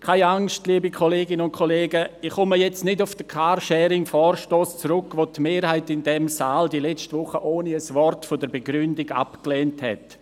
Keine Angst, liebe Kolleginnen und Kollegen, ich komme jetzt nicht auf den Carsharing-Vorstoss zurück, den die Mehrheit in diesem Saal letzte Woche ohne ein Wort der Begründung abgelehnt hat.